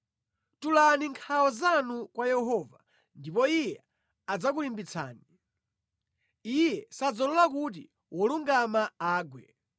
Tulani nkhawa zanu kwa Yehova ndipo Iye adzakulimbitsani; Iye sadzalola kuti wolungama agwe.